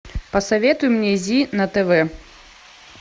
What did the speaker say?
посоветуй мне зи на тв